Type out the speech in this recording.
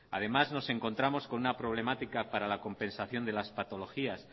además nos encontramos con una problemática para la compensación de las patologías